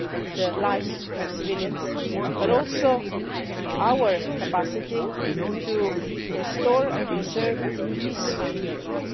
the lives of civilians, but also our capacity to restore and preserve peace in Europe.